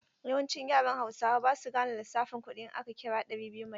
Yawancin yaran hausawa ba su gane lissafin kuɗi in aka kira ɗari biyu Maitan.